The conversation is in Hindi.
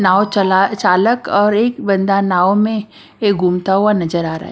नाव चला चालक और एक बंदा नाव में ये घूमता हुआ नजर आ रहा है।